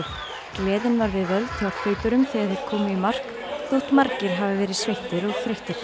gleðin var við völd hjá hlaupurum þegar þeir komu í mark þótt margir hafi verið sveittir og þreyttir